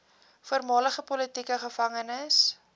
voormalige politieke gevangenes